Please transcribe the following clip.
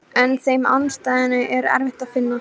En með þeim andstæðum er erfitt að vinna.